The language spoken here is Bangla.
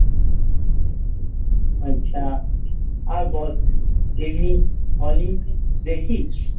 আচ্ছা আর বল এমনি Olympic দেখিস?